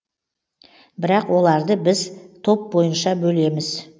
бірақ оларды біз топ бойынша бөлеміз